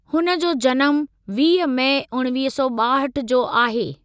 हुन जो जनमु वीह मई उणिवीह सौ ॿाहठि जो आहे।